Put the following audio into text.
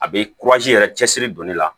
A bɛ yɛrɛ cɛsiri don ne la